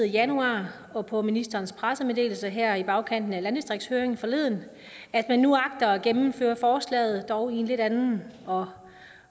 januar og på ministerens pressemeddelelse her i bagkanten af landdistriktshøringen forleden at man nu agter at gennemføre forslaget dog i en lidt anden og